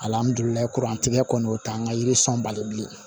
tigɛ kɔni o t'an ka yiri sɔn bali bilen